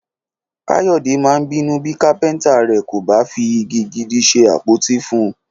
Káyọ̀dé máa bínú bí kápẹ́ntà rẹ̀ kò bá fi igi gidi ṣe àpótí fún un